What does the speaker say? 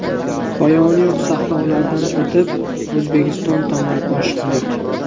Poyoni yo‘q sahrolardan o‘tib, O‘zbekiston tomon oshiqdik.